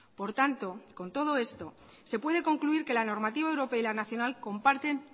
por tanto con todo esto se puede concluir que la normativa europea y la nacional comparten